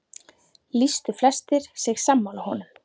Lýstu flestir sig sammála honum.